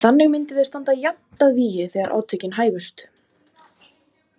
Þannig myndum við standa jafnt að vígi þegar átökin hæfust.